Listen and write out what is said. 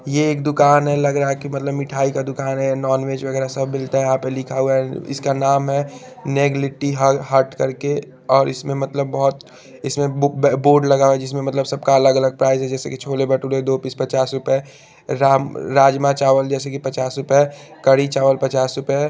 ये एक दूकान है लगरा की मतलब मिठाई का दूकान है नॉन वेज वगेरा सब मिलता है यहा पे लिखा हुआ है इसका नाम है नेगलिटी हल हर्ट करके और इसमें मतलब बहोत इसमें बुक बे बोर्ड लगा हुआ है जिसमे मतलब सब का अलग अलग प्राइस है जेसे की छोले भटूरे दो पिस पचास रुपे राम-राजमा चावल जेसे की पचास रुपे करी चावल पचास रुपे --